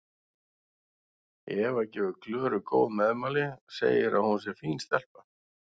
Eva gefur Klöru góð meðmæli, segir að hún sé fín stelpa.